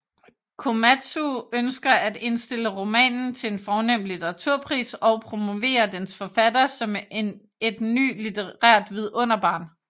Komatsu ønsker at indstille romanen til en fornem litteraturpris og promovere dens forfatter som et ny litterært vidunderbarn